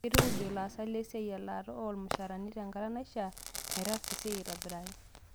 Keitukuj ilaasak lesiai elaata oo lmshaara tenkata naishia meetasa esai aitobiraki